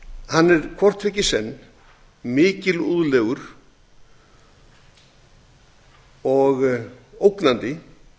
hann er hvort tveggja í senn mikilúðlegur og ógnandi